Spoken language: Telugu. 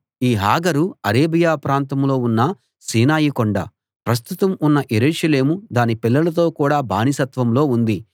ఈ హాగరు అరేబియా ప్రాంతంలో ఉన్న సీనాయి కొండ ప్రస్తుతం ఉన్న యెరూషలేము దాని పిల్లలతో కూడ బానిసత్వంలో ఉంది